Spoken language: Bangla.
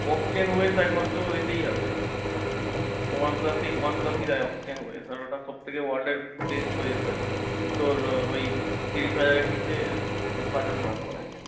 একমাত্র এতেই আছে। one plus এই one plus ই দেয় আর ওটা সব থেকে world এর best OSR তোর ঐ তিরিশ হাজারের নিচে budget mark করে।